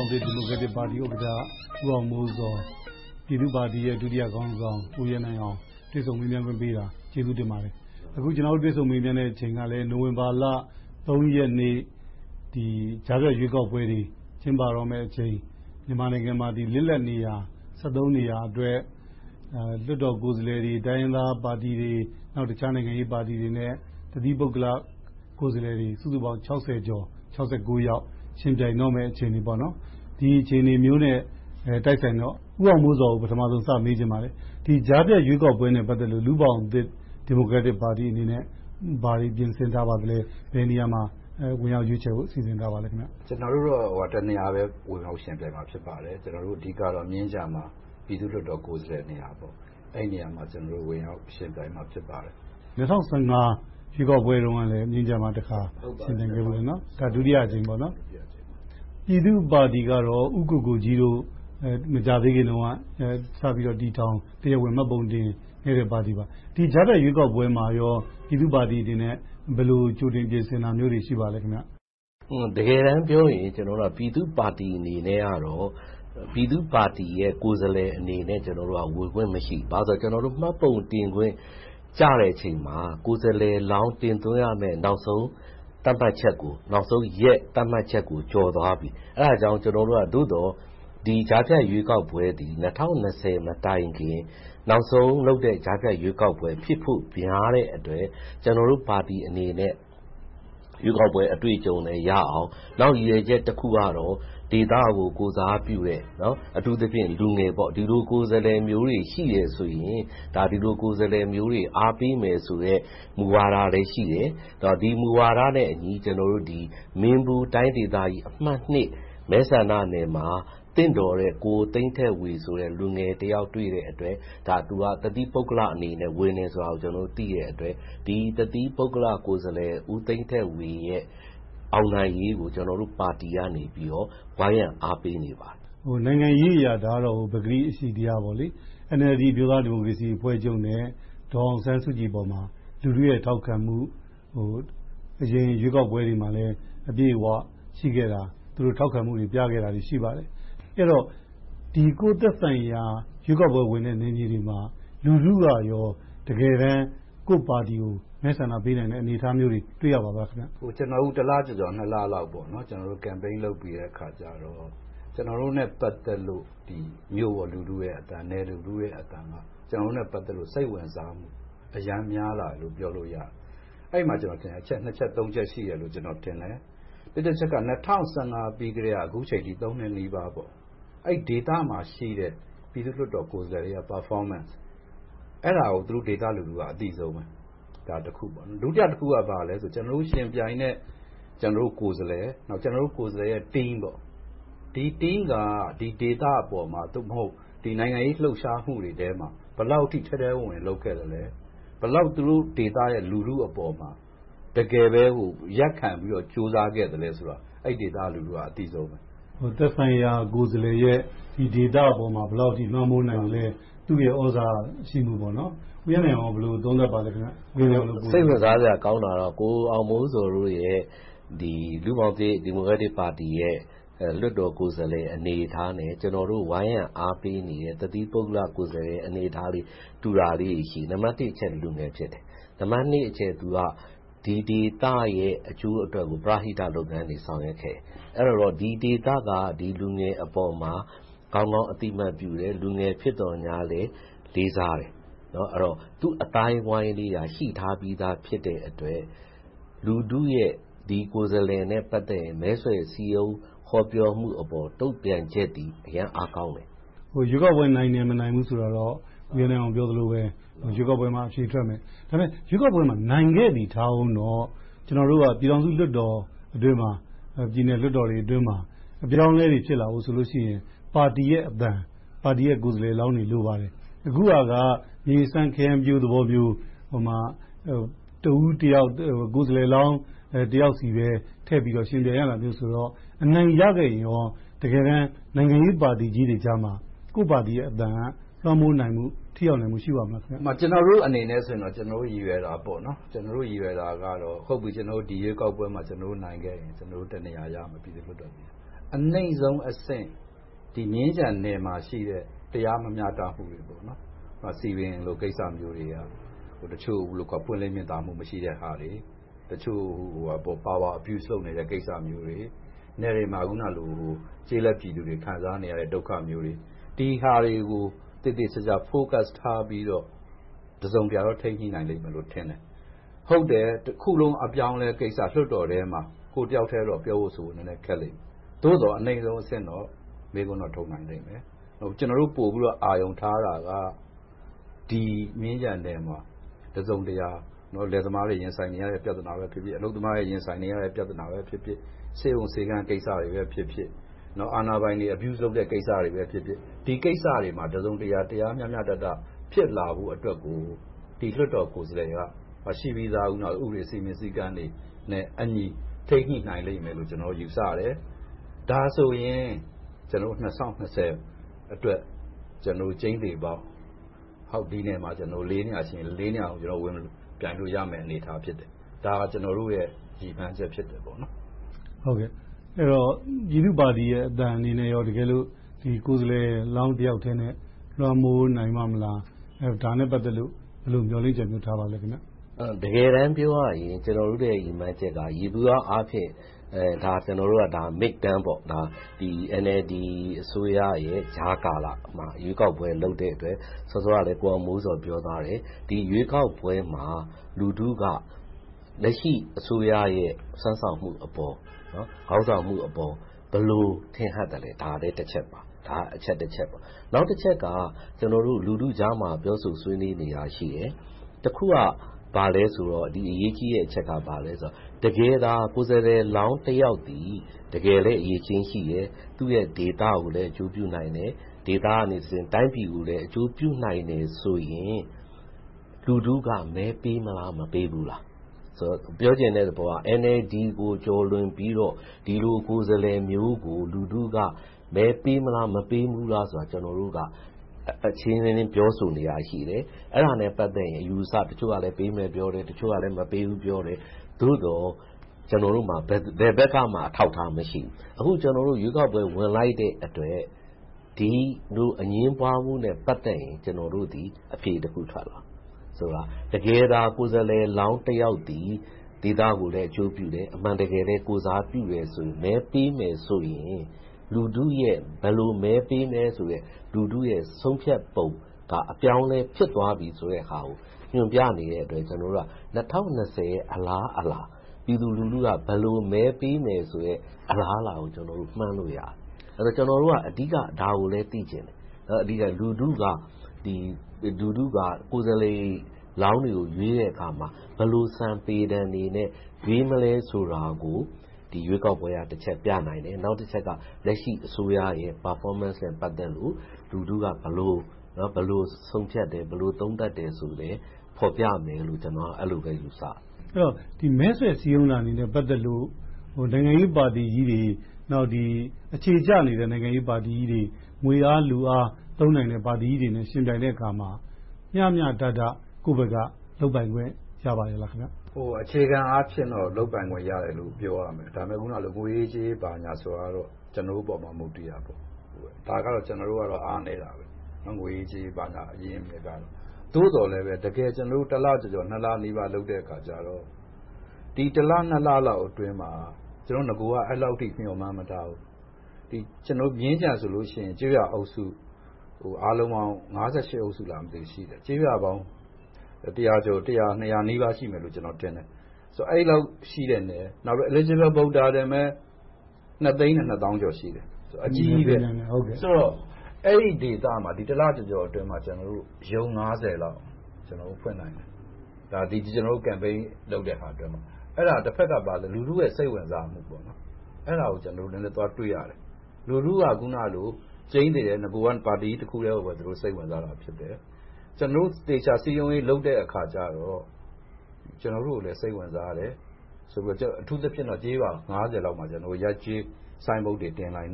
င်သစ်ဒီမိုကရက်တစ်ပါတီ ဥက္ကဋ္ဌ ဦးအောင်မိုးဇော်၊ ပြည်သူ့ပါတီရဲ့ ဒုတိယခေါင်းဆောင် ဦးရဲနိုင်အောင်တို့ တွေ့ဆုံမေးမြန်းခွင့်ပေးတာကို ကျေးဇူးတင်ပါတယ်။ အခုတို့ ကျနော်တို့ တွေ့ဆုံမေးမြန်းခွင့်အချိန်ကလည်း နိုဝင်ဘာဘ ရက်နေ့ ကြားဖြတ်ရွေးကောက်ပွဲတွေ ကျင်းပတော့မယ့်အချိန် မြန်မာနိုင်ငံမှာ လစ်လပ်နေရာ နေရာအတွက် လွှတ်တော်ကိုယ်စားလှယ်တွေ၊ တိုင်းရင်းသားပါတီတွေ၊ တခြားနိုင်ငံရေးပါတီတွေနဲ့ တသီးပုဂ္ဂလိက ကိုယ်စားလှယ်တွေ စုစုပေါင်း ကျော်၊ ယောက် ယှဉ်ပြိုင်တော့မယ့် အခြေအနေမျိုးနဲ့ တိုက်ဆိုင်တော့ ဦးအောင်မိုးဇော်ကို ပထမဦးဆုံး စမေးချင်ပါတယ်။ ကြားဖြတ်ရွေးကောက်ပွဲနဲ့ ပတ်သက်လို့ လူ့ဘောင်သစ်ဒီမိုကရက်တစ်ပါတီအနေနဲ့ ဘာတွေပြင်ဆင်ထားပါသလဲ။ ဘယ်နေရာမှာ ဝင်ရောက်ရွေးချယ်ဖို့ စီစဉ်ထားပါသလဲ။ ကျနော်တို့က တစ်နေရာမှာ ဝင်ရောက်ယှဉ်ပြိုင်မှာ ဖြစ်ပါတယ်။ ကျနော်တို့ အဓိကတော့ မြင်းခြံမှာ ပြည်သူ့လွှတ်တော်ကိုယ်စားလှယ်နေရာမှာ ဝင်ရောက်ယှဉ်ပြိုင်မှာ ဖြစ်ပါတယ်။ ၂၀၁၅ ရွေးကောက်ပွဲတုန်းကလည်း မြင်းခြံမှာတခါ ဝင်ရောက်ယှဉ်ပြိုင်ခဲ့ဖူးတယ်နော်။ ဒါက ဒုတိယအကြိမ်ပေါ့။ ဟုတ်ပါတယ်။ ဒုတိယအကြိမ်ပါ။ ပြည်သူ့ပါတီကတော့ ဦးကိုကိုကြီးတို့ မကြာသေးခင်တုန်းက စပြီးတော့ တည်ထောင်၊ တရားဝင်မှတ်ပုံတင်ခဲ့တဲ့ ပါတီပါ။ ဒီကြားဖြတ်ရွေးကောက်ပွဲမှာ ပြည်သူ့ပါတီအနေနဲ့ ဘယ်လိုကြိုတင်ပြင်ဆင်တာတွေ ရှိပါသလဲ။ တကယ်တမ်းပြောရင် ကျနေ်ာတို့က ပြည်သူ့ပါတီအနေနဲ့တော့ ပြည်သူ့ပါတီကိုယ်စားလှယ်အနေနဲ့ ဝင်ခွင့်မရှိပါဘူး။ ဘာဖြစ်လို့လဲဆိုတော့ ကျနော်တို့ မှတ်ပုံတင်ခွင့်ကျတဲ့အချိန်မှာ ကိုယ်စားလှယ်လောင်း တင်သွင်းရမယ့် နောက်ဆုံးရက် သတ်မှတ်ချက်ကို ကျော်သွားပြီ။ အဲဒါကြောင့် ကျနော်တို့က သို့သော် ဒီကြားဖြတ်ရွေးကောက်ပွဲသည် ၂၀၂၀ မတိုင်ခင်၊ နောက်ဆုံးလုပ်တဲ့ ကြားဖြတ်ရွေးကောက်ပွဲဖြစ်ဖို့ များတဲ့အတွက် ကျနော်တို့ပါတီအနေနဲ့ ရွေးကောက်ပွဲအတွေ့အကြုံလည်းရအောင်။ နောက်ရည်ရွယ်ချက်တခုကတော့ ဒေသကို ကိုယ်စားပြုတဲ့။ အထူးသဖြင့် လူငယ် - ဒီလိုကိုယ်စားလှယ်မျိုးတွေ ရှိတယ်ဆိုရင် ဒီလိုကိုယ်စားလှယ်မျိုးတွေ အားပေးမယ်ဆိုတဲ့ မူဝါဒလည်းရှိတယ်။ ဒီမူဝါဒနဲ့အညီ မင်းဘူးတိုင်းဒေသကြီး အမတ် မဲဆန္ဒနယ်မှာ သင့်တော်တဲ့ ကိုသိန်းထက်ဝေ လူငယ်တယောက်တွေ့တဲ့အတွက် သူက တသီး ပုဂ္ဂလိကအနေနဲ့ ဝင်ရောက်ယှဉ်ပြိုင်တာကို သိတဲ့အတွက် ဒီတသီး ပုဂ္ဂလိကကိုယ်စားလှယ် ကိုသိန်းထက်ဝေရဲ့ အောင်နိုင်ရေးကို ကျနော်တို့ပါတီကနေ ဝိုင်းရံအားပေးနေပါတယ်။ နိုင်ငံရေးအရ ဒါကတော့ ပကတိအရှိတရားပေါ့။ NLD အမျိုးသားဒီမိုကရေစီအဖွဲ့ချုပ်နဲ့ ဒေါ်အောင်ဆန်းစုကြည်အပေါ်မှာ လူထုရဲ့ ထောက်ခံမှုက အရင်ရွေးကောက်ပွဲတွေပေါ်မှာလည်း အပြည့်အဝရှိခဲ့တာ၊ ထောက်ခံမှုတွေပြခဲ့တာတွေလည်း ရှိပါတယ်။ အဲဒီတော့ ကိုယ့်သက်ဆိုင်ရာ ရွေးကောက်ပွဲဝင်တဲ့နေရာတွေမှာ လူထုကရော တကယ်တမ်း ကိုယ့်ပါတီကို မဲဆန္ဒပေးနိုင်တဲ့ အနေအထားမျိုးတွေ တွေ့ရပါသလား။ ကျနော်တို့ တစ်လကျော်ကျော်၊ နှစ်လလောက် Campaign လုပ်ပြီးတဲ့အခါကြတော့ ကျနော်တို့နဲ့ ပတ်သက်လို့ မြို့ပေါ်လူထုရဲ့အသံ၊ နယ်လူထုရဲ့အသံက စိတ်ဝင်စားမှု အရမ်းများလာတယ်လို့ ပြောလို့ရတယ်။ အဲဒီမှာ အချက် နှစ်ချက်သုံးချက် ရှိတယ်လို့ထင်တယ်။ တစ်တချက်က ၂၀၁၅ ပြီကတည်းက အခုအချိန်အထိ နှစ်နီးပါး အဲဒီဒေသမှာရှိတဲ့ ပြည်သူ့လွှတ်တော်တွေရဲ့ Performance ကို အဲဒီဒေသရဲ့ လူထုက အသိဆုံးပါ။ ဒုတိယတခုက ဘာလဲဆိုတော့ ကျနော်တို့ယှဉ်ပြိုင်တဲ့ ကျနော်တို့ ကိုယ်စားလှယ် နဲ့ သူ့ Team တို့က ဒီဒေသအပေါ်မှာ သို့မဟုတ် နိုင်ငံရေးလှုပ်ရှားမှုတွေမှာ ဘယ်လောက်အထိ ထဲထဲဝင်ဝင် လုပ်ခဲ့သလဲ။ ဘယ်လောက် သူတို့ ဒေသရဲ့လူထုအပေါ်မှာ တကယ်ပဲ ရပ်ခံပြီးတော့ ကြိုးစားခဲ့သလဲဆိုတာတွေကို အဲဒီဒေသရဲ့ လူထုက အသိဆုံးပါ။ သက်ဆိုင်ရာကိုယ်စားလှယ်ရဲ့ ဒေသအပေါ်မှာ ဘယ်လောက်အထိ လွှမ်းမိုးနိုင်သလဲ။ သူ့ရဲ့သြဇာရှိမှု။ ဦးရဲနိုင်အောင် ဘယ်လိုသတ်မှတ်ပါသလဲ။ စိတ်ဝင်စားစရာကောင်းတာကတော့ ကိုအောင်မိုးဇော်တို့ရဲ့ လူ့ဘောင်သစ်ဒီမိုကရက်တစ်ပါတီရဲ့ လွှတ်တော်ကိုယ်စားလှယ်အနေအထားနဲ့ ကျနော်တို့ ဝိုင်းရံအားပေးနေတဲ့ တသီးပုဂ္ဂလိကကိုယ်စားလှယ်ရဲ့ အနေအထားတွေ တူတာလေးတွေရှိတယ်။ နံပတ်တစ်အချက် လူငယ်တွေ ဖြစ်ကြတယ်။ နံပတ်နှစ်အချက် သူတို့က ဒီဒေသရဲ့ အကျိုးအတွက်ကို ပရဟိတလုပ်ငန်းတွေ ဆောင်ရွက်ခဲ့တယ်။ အဲဒီတော့ ဒီဒေသက ဒီလူငယ်အပေါ်မှာ ကောင်းကောင်းအသိမှတ်ပြုတယ်။ လူငယ်ဖြစ်သော်ငြားလဲ လေးစားတယ်။ အဲဒီတော့ သူ့အသိုင်းအဝိုင်းလေး ရှိထားပြီးဖြစ်တဲ့အတွက် လူထုရဲ့ ဒီကိုယ်စားလှယ်နဲ့ ပတ်သက်ရင် မဲဆွယ်စည်းရုံးဟောပြောမှုအပေါ် တုံ့ပြန်ချက်သည် အရမ်းအားကောင်းတယ်။ ရွေးကောက်ပွဲ နိုင်မယ်မနိုင်ဘူးဆိုတာတော့ ဦးရဲနိုင်အောင် ပြောသလိုပဲ ရွေးကောက်ပွဲရောက်မှ အဖြေထွက်မယ်။ ရွေးကောက်ပွဲမှာ နိုင်ခဲ့သည်ထားအုံးတော့ ပြည်ထောင်စုလွှတ်တော်အတွင်းမှာ၊ ပြည်နယ်လွှတ်တော်တွေအတွင်းမှာ အပြောင်းအလဲတွေ ဖြစ်လာဖို့ဆိုရင် ပါတီရဲ့အသံ၊ ပါတီရဲ့ကိုယ်စားလှယ်လောင်းတွေ လိုပါတယ်။ အခုဟာက မြေစမ်းခရမ်းပျိုးလိုမျိုး ကိုယ်စားလှယ်တယောက်စီပဲ ထည့်ပြီးတော့ ယှဉ်ပြိုင်ရတာဆိုတော့ အနိုင်ရခဲ့တယ်ဆိုရင်ကော နိုင်ငံရေးပါတီကြီးတွေကြားမှာ ကိုယ့်ပါတီရဲ့အသံ လွှမ်းမိုးနိုင်မှု၊ ထိရောက်နိုင်မှု ရှိပါ့မလား။ ကျနော်တို့အနေနဲ့ဆိုရင် ကျနော်တို့ရည်ရွယ်တာက ဒီရွေးကောက်ပွဲမှာ ကျနော်တို့ နိုင်ခဲ့တယ်ဆိုရင် ပြည်သူ့လွှတ်တော်မှာ ကျနော်တို့ တစ်နေရာရမယ်။ အနိမ့်ဆုံးအဆင့် မြင်းခြံနယ်မှာရှိတဲ့ တရားမမျှတမှုတွေကို ဥပမာ စည်ပင်လိုကိစ္စမျိုးတွေ၊ တချို့ပွင့်လင်းမြင်သာမှု မရှိတဲ့ဟာတွေ၊ တချို့ Power Abuse လုပ်နေတဲ့ကိစ္စတွေ၊ နယ်တွေမှာ ကျေးလက်ပြည်သူတွေ ခံစားနေရတဲ့ ဒုက္ခမျိုးတွေ။ ဒီဟာတွေကို သေသေချာချာ Focus ထားပြီးတော့ တစုံတရာတော့ ထိန်းညှိနိုင်မယ်လို့ထင်တယ်။ ဟုတ်တယ်.. တခုလုံး အပြောင်းအလဲကိစ္စ - လွှတ်တော်ထဲမှာ ကိုယ့်တယောက်ထဲတော့ ပြောဖို့ဆိုဖို့ ခက်လိမ့်မယ်။ သို့သော် အနိမ့်ဆုံးအဆင့်တော့ မေးခွန်းတော့ ထုတ်နိုင်လိမ့်မယ်။ ကျနော်တို့ ပိုပြီးတော့ အာရုံထားတာက ဒီမြင်းခြံနယ်မှာ တစုံတရာ လယ်သမားတွေ ရင်ဆိုင်နေရတဲ့ ပြဿနာပဲဖြစ်ဖြစ်၊ အလုပ်သမားတွေ ရင်ဆိုင်နေရတဲ့ ပြဿနာပဲဖြစ်ဖြစ်၊ ဆေးရုံဆေးခန်းတွေကိစ္စပဲဖြစ်ဖြစ်၊ အာဏာပိုင်တွေ abuse လုပ်တဲ့ ကိစ္စတွေပဲဖြစ်ဖြစ် - ဒီကိစ္စတွေမှာ တစုံတရာ တရားမျှမျှတတ ဖြစ်လာဖို့အတွက်ကို ဒီလွှတ်တော်ကိုယ်စားလှယ်က ရှိပြီသား ဥပဒေစည်းမျဉ်းစည်းကမ်းတွေနဲ့အညီ ထိန်းညှိနိုင်လိမ့်မယ်လို့ ကျနော်တို့ ယူဆတယ်။ ဒါဆိုရင် ၂၀၂၀ အတွက် ကျိန်းသေပေါက် ဒီနယ်မြေမှာ လေးနေရာရှိရင် လေးနေရာလုံး ဝင်ပြိုင်လို့ရတဲ့ အနေအထား ဖြစ်တယ်။ ဒါက ကျနော်တို့ရဲ့ ရည်မှန်းချက်ဖြစ်တယ်။ ပြည်သူ့ပါတီအသံအနေနဲ့ တကယ်လို့ ကိုယ်စားလှယ်လောင်းတယောက်ထဲနဲ့ လွှမ်းမိုးနိုင်ပါ့မလား။ တကယ်တမ်းပြောရရင် ကျနော်တို့ရဲ့ ရည်မှန်းချက်က ယေဘုယျအားဖြင့် ဒါက Mid-term ဖြစ်တယ်။ NLD အစိုးရရဲ့ ကြားကာလ ရွေးကောက်ပွဲ လုပ်တဲ့အတွက် စောစောကလည်း ကိုအောင်မိုးဇော် ပြောသွားတယ်။ ဒီရွေးကောက်ပွဲမှာ လူထုက လက်ရှိအစိုးရရဲ့ စွမ်းဆောင်မှုအပေါ်၊ ခေါင်းဆောင်မှုအပေါ် ဘယ်လိုထင်ဟပ်သလဲ ဒါကတချက်ပါ။ နောက်တချက်က ကျနော်တို့ လူထုကြားမှာ ပြောဆိုဆွေးနွေးနေတာရှိတယ်။ တခုက ဘာလဲဆိုတော့ အရေးကြီးတဲ့အချက်က ဘာလဲဆိုတော့ တကယ်သာ ကိုယ်စားလှယ်လောင်းတယောက်သည် တကယ်လည်း အရည်အချင်းရှိတယ်။ သူ့ရဲ့ဒေသကိုလည်း အကျိုးပြုနိုင်တယ်။ ဒေသကတဆင့် တိုင်းပြည်ကိုလည်း အကျိုးပြုနိုင်တယ်ဆိုရင် လူထုက မဲပေးမလား၊ မဲမပေးဘူးလား - ပြောချင်တဲ့သဘောက NLD ကို ကျော်လွန်ပြီးတော့ ဒီလိုကိုယ်စားလှယ်မျိုးကို လူထုက မဲပေးမလား၊ မပေးဘူးလားဆိုတာကို ကျနော်တို့က အချင်းချင်းပြောဆိုနေတာရှိတယ် - အဲဒါနဲ့ ပတ်သက်ရင် တချို့ကလဲပေးမယ်။ တချို့ကလဲ မပေးဘူး ပြောတယ်။ သို့သော် ကျနော်တို့မှာ ဘယ်ဘက်ကမှ အထောက်အထား မရှိဘူး။ အခု ကျနော်တို့ ရွေးကောက်ပွဲကို ဝင်လိုက်တဲ့အတွက် ဒီလိုအငြင်းပွားမှုနဲ့ ပတ်သက်ရင် အဖြေတခုထွက်လာမယ်။ တကယ်သာ ကိုယ်စားလှယ်လောင်းတယောက်သည် ဒေသကိုလည်း အကျိုးပြုတယ်။ အမှန်တကယ်လဲ ကိုယ်စားပြုတယ်ဆိုရင် မဲပေးမယ်ဆိုရင် လူထုရဲ့ ဘယ်လိုမဲပေးမလဲဆိုတဲ့ လူထုရဲ့ ဆုံးဖြတ်ပုံက အပြောင်းအလဲဖြစ်သွားပြီဆိုတဲ့ဟာကို ညွှန်ပြနေတဲ့အတွက် ၂၀၂၀ ရဲ့ အလားအလာ။ ပြည်သူလူထုက ဘယ်လိုမဲပေးမလဲဆိုတဲ့ အလားအလာကို မှန်းလို့ရတယ်။ ကျနော်တို့က အဓိက ဒါကိုလဲ သိချင်တယ်။ လူထုက ကိုယ်စားလှယ်လောင်းတွေကို ရွေးတဲ့အခါမှာ ဘယ်လို စံ၊ ပေတံတွေနဲ့ ရွေးမလားဆိုတာကို ဒီရွေးကောက်ပွဲက တချက်ပြနိုင်တယ်။ နောက်တချက်က လက်ရှိအစိုးရရဲ့ Performance နဲ့ ပတ်သက်လို့ လူထုက ဘယ်လိုဆုံးဖြတ်တယ်၊ ဘယ်လိုသုံးသပ်တယ်ဆိုတာကို ဖော်ပြမယ်လို့ ကျနော်က အဲဒီလိုပဲ ယူဆတယ်။ မဲဆွယ်စည်းရုံးတာတွေနဲ့ ပတ်သက်လို့ နိုင်ငံရေးပါတီကြီးတွေ၊ နောက် အခြေကျနေတဲ့ နိုင်ငံရေးပါတီကြီးတွေ၊ ငွေအားလူအား သုံးနိုင်တဲ့ ပါတီကြီးတွေနဲ့ ယှဉ်ပြိုင်တဲ့အခါမှာ မျှမျှတတ ကိုယ့်ဘက်က လုပ်ပိုင်ခွင့် ရပါရဲ့လား။ အခြေခံအားဖြင့်တော့ လုပ်ပိုင်ခွင့်ရတယ်လို့ ပြောလို့ရတယ်။ ဒါပေမဲ့ ငွေရေးကြေးရေးဆိုတာတော့ ကျနော်တို့ပေါ် မူတည်တာပေါ့။ အဲဒီမှာတော့ ကျနော်တို့က အားနည်းတယ်။ သို့သော်လဲ ကျနော်တို့ တစ်လကျော်ကျော်၊ နှစ်လနီးပါးလုပ်တဲ့အခါ ကျနော်တို့ အစောက အဲဒီလောက်အထိ မျှော်မှန်းမထားဘူး။ မြင်းခြံဆိုရင် ကျေးရွာအုပ်စုအားလုံးပေါင်း အုပ်စု ရှိတယ်။ ကျေးရွာပေါင်း တစ်ရာနှစ်ရာနီးပါး ရှိမယ်လို့ ထင်တယ်။ အဲဒီလောက်ရှိတဲ့နေရာမှာ Eligible Voters နှစ်သိန်းနဲ့နှစ်သောင်းကျော် ရှိတယ်။ အကြီးကြီးပါ။ ဆိုတော့ အဲဒီဒေသမှာ တစ်လကျော်ကျော်အတွင်းမှာ ရုံး လောက် ဖွင့်နိုင်တယ်။ ကျနော်တို့ Campaign လုပ်တဲ့ကာလအတွင်းမှာ။ တဘက်က လူထုရဲ့ စိတ်ဝင်စားမှု အဲဒါကို နည်းနည်းသွားတွေ့တယ်။ လူထုက ကြိမ်းသေတယ် နဂိုက ပါတီကြီးတခုတည်းကိုပဲ စိတ်ဝင်စားခဲ့တယ်။ ကျနော်တို့ သေချာစည်းရုံးရေး လုပ်တဲ့အခါကြတော့ ကျနော်တို့ကိုလည်း စိတ်ဝင်စားတယ်။ အထူးသဖြင့် ကျေးရွာ လောက်မှာ ရပ်ကျေးဆိုင်ဘုတ်တွေ တင်နိုင်